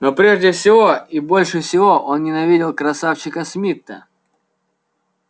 но прежде всего и больше всего он ненавидел красавчика смитта